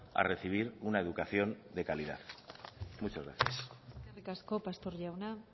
a recibir una educación de calidad muchas gracias eskerrik asko pastor jauna